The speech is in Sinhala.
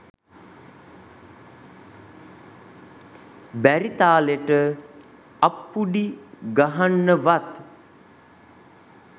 බැරි තාලෙට අප්පුඩි ගහන්නවත්